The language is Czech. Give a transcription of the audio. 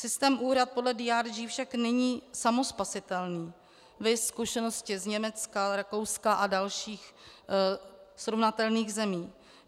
Systém úhrad podle DRG však není samospasitelný, viz zkušenosti z Německa, Rakouska a dalších srovnatelných zemí.